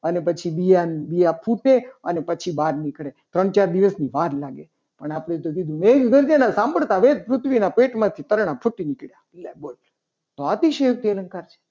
અને પછી બીજાને બીજા ફૂટે. અને પછી બહાર નીકળે. ત્રણ ચાર દિવસની વાર લાગે. અને આપણે તો કીધું કે મેઘ ગર્જના સાંભળતા વેત પૃથ્વીના પેટમાંથી પાંદડા ફૂટી નીકળ્યા. લે બોલો તો અતિશયોક્તિ અલંકાર છે.